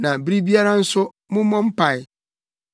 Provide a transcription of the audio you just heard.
na bere biara nso, mommɔ mpae;